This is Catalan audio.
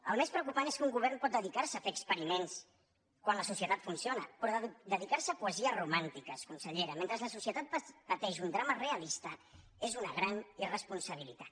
el més preocupant és que un govern pot dedicar se a fer experiments quan la societat funciona però dedicar se a poesies romàntiques consellera mentre la societat pateix un drama realista és una gran irresponsabilitat